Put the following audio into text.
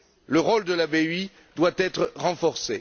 Le rôle de la BEI doit être renforcé.